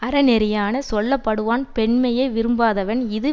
அறநெறியானே சொல்ல படுவான் பெண்மையை விரும்பாதவன் இது